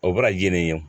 O bɛ na ye nin ye